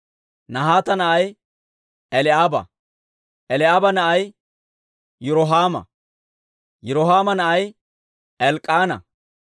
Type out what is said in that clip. Nahaata na'ay Eli'aaba; Eli'aaba na'ay Yirohaama; Yirohaama na'ay Elk'k'aana.